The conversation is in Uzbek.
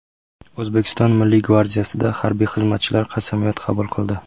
O‘zbekiston Milliy gvardiyasida harbiy xizmatchilar qasamyod qabul qildi.